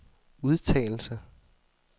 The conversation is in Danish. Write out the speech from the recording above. udtalelse